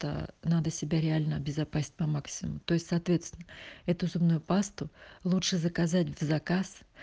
то надо себя реально обезопасить по максимуму то есть соответственно это зубную пасту лучше заказать в заказ